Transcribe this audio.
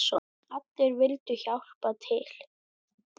Allir vildu hjálpa til.